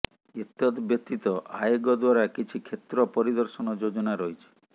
ଏତଦବ୍ୟତୀତ ଆୟୋଗ ଦ୍ବାରା କିଛି କ୍ଷେତ୍ର ପରିଦର୍ଶନ ଯୋଜନା ରହିଛି